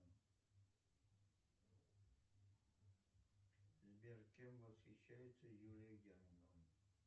сбер кем восхищается юлия германова